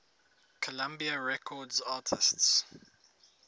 columbia records artists